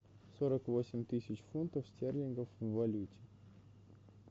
сорок восемь тысяч фунтов стерлингов в валюте